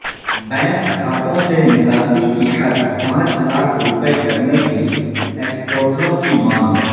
bank کھاتوں سے نکاسی کی حد پانچ لاکھ روپے کرنے کی ایکسپورٹروں کی مانگ